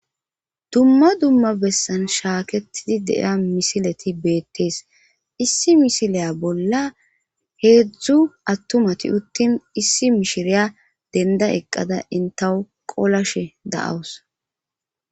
dumma dumma bessan shaaketidi deiya misileti beettees issi misileya bolla heedzdzu attumati uttin issi mishiriya denda eqqada intawu qolashe da7awus